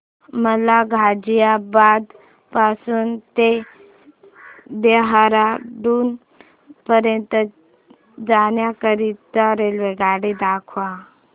मला गाझियाबाद पासून ते देहराडून पर्यंत जाण्या करीता रेल्वेगाडी दाखवा